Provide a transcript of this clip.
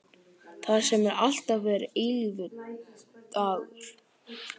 Þar sem alltaf er eilífur dagur.